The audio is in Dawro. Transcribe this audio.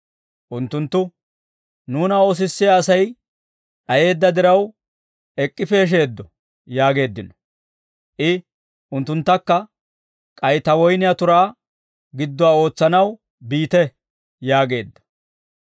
«Unttunttu, ‹Nuuna oosissiyaa Asay d'ayeedda diraw ek'k'i peesheeddo› yaageeddino. «I, ‹Unttunttakka k'ay ta woyniyaa turaa gidduwaa ootsanaw biite› yaageedda.